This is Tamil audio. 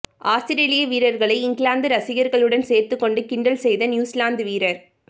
ஆஸ்திரேலிய வீரர்களை இங்கிலாந்து ரசிகர்களுடன் சேர்ந்துகொண்டு கிண்டல் செய்த நியூசிலாந்து வீரர்